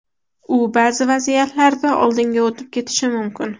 U ba’zi vaziyatlarda oldinga o‘tib ketishi mumkin.